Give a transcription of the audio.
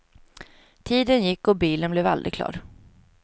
Tiden gick och bilen blev aldrig klar.